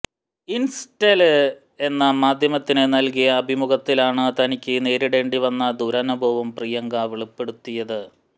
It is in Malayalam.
ഇന്സ്റ്റൈല് എന്ന മാധ്യമത്തിന് നല്കിയ അഭിമുഖത്തിലാണ് തനിക്ക് നേരിടേണ്ടി വന്ന ദുരനുഭവം പ്രിയങ്ക വെളിപ്പെടുത്തിയത്